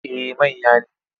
Eh manya ne.